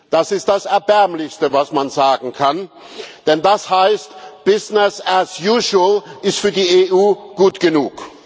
Das ist das Erbärmlichste, was man sagen kann, denn das heißt, business as usual ist für die EU gut genug.